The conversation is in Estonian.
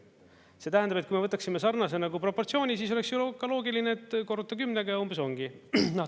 See tähendab, et kui me võtaksime sarnase proportsiooni, siis oleks ju loogiline, et korruta 10-ga ja umbes ongi.